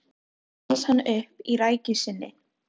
Þá reis hann upp í rekkju sinni.